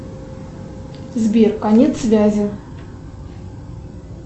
сбер конец связи